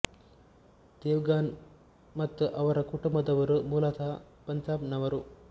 Dev gun ಮತ್ತು ಅವರ ಕುಟುಂಬದವರು ಮೂಲತಃ ಪಂಜಾಬ್ ನವರು